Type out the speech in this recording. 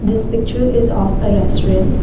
this picture is of a restaurant.